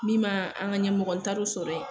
Mi m'aan an ŋa ɲɛmɔgɔ n taar'o sɔrɔ ye